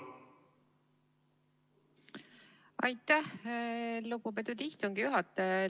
Aitäh, lugupeetud istungi juhataja!